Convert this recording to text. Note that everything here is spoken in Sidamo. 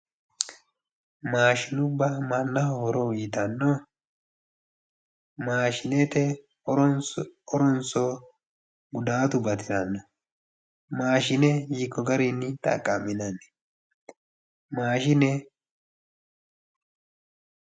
Maashinubba mannaho horo uuyittano ? Maashinete horonso gudatu batirano ? Maashine hiikko garinni xaqa'minanni ,maashinee